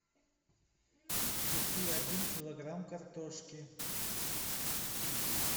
купи один килограмм картошки